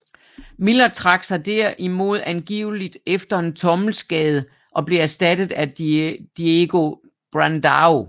Miller trak sig derimod angiveligt efter en tommelskade og blev erstattet af Diego Brandão